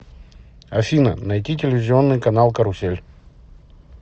афина найти телевизионный канал карусель